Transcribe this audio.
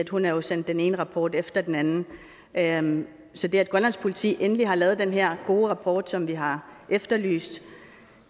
hun har jo sendt den ene rapport efter den anden anden så det at grønlands politi endelig har lavet den her gode rapport som vi har efterlyst